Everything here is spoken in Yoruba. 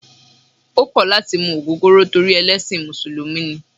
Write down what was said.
O kò̩ lati mu ogogoro torí ẹlẹ́sìn musulumi ni